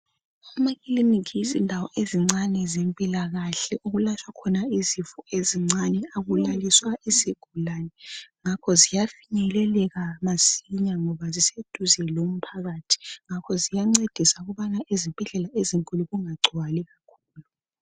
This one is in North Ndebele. Amakiliniki yizindawo ezincane zempilakahle okulatshwa khona izifo ezincane. Akulaliswa izigulane ngakho ziya finyeleleka masinya ngoba ziseduze lomphakathi .Ngakho ziyancedisa ukubana ezibhedlela ezinkulu kunga gcwali.